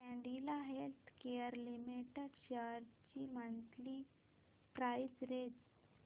Cadila healthcare limited shares ची monthly price range